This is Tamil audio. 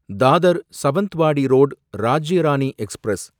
Dadar Sawantwadi road Rajya Rani express